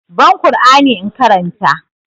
Ban ƙur'ani in karanta!